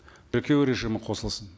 тіркеу режимі қосылсын